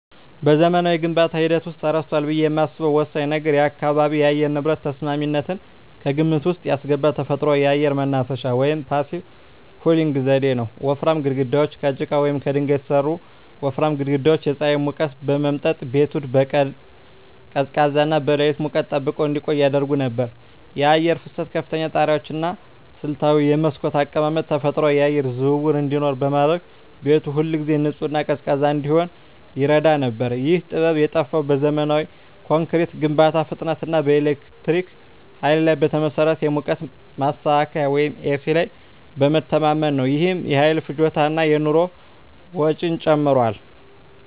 በዘመናዊው የግንባታ ሂደት ውስጥ ተረስቷል ብዬ የማስበው ወሳኝ ነገር የአካባቢ የአየር ንብረት ተስማሚነትን ከግምት ውስጥ ያስገባ ተፈጥሯዊ የአየር ማናፈሻ (Passive Cooling) ዘዴ ነው። ወፍራም ግድግዳዎች: ከጭቃ ወይም ከድንጋይ የተሠሩ ወፍራም ግድግዳዎች የፀሐይን ሙቀት በመምጠጥ ቤቱን በቀን ቀዝቃዛና በሌሊት ሙቀት ጠብቀው እንዲቆይ ያደርጉ ነበር። የአየር ፍሰት: ከፍተኛ ጣሪያዎች እና ስልታዊ የመስኮት አቀማመጥ ተፈጥሯዊ የአየር ዝውውር እንዲኖር በማድረግ ቤቱ ሁልጊዜ ንጹህና ቀዝቃዛ እንዲሆን ይረዳ ነበር። ይህ ጥበብ የጠፋው በዘመናዊ ኮንክሪት ግንባታ ፍጥነት እና በኤሌክትሪክ ኃይል ላይ በተመሠረተ የሙቀት ማስተካከያ (ኤሲ) ላይ በመተማመን ነው። ይህም የኃይል ፍጆታን እና የኑሮ ወጪን ጨምሯል።